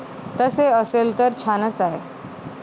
तसे असेल तर छानच आहे.